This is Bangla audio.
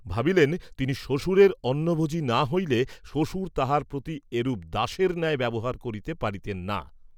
ভাবিলেন তিনি শ্বশুরের অন্নভোজী না হইলে, শ্বশুর তাঁহার প্রতি এরূপ দাসের ন্যায় ব্যবহার করিতে পারিতেন না।